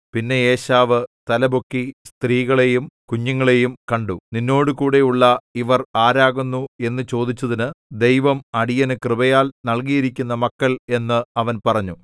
പിന്നെ ഏശാവ് തലപൊക്കി സ്ത്രീകളെയും കുഞ്ഞുങ്ങളെയും കണ്ടു നിന്നോടുകൂടെയുള്ള ഇവർ ആരാകുന്നു എന്നു ചോദിച്ചതിന് ദൈവം അടിയനു കൃപയാൽ നല്കിയിരിക്കുന്ന മക്കൾ എന്ന് അവൻ പറഞ്ഞു